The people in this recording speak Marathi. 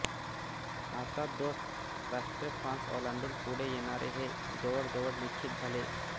आता दोस्त राष्ट्रे फ्रान्स ओलांडून पुढे येणार हे जवळजवळ निश्चित झाले